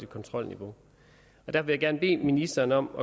kontrolniveau og det vil jeg gerne bede ministeren om